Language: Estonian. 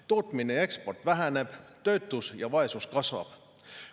Tootmine ja eksport väheneb, töötus ja vaesus kasvab.